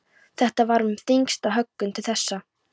Þetta var með þyngstu höggunum til þessa.